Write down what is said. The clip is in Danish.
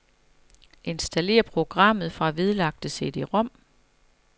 Installér programmet fra vedlagte cd-rom.